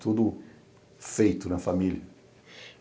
Tudo feito na família.